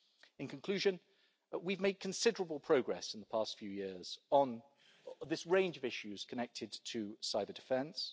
In conclusion, we've made considerable progress in the past few years on this range of issues connected to cyber-defence.